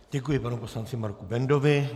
Děkuji panu poslanci Marku Bendovi.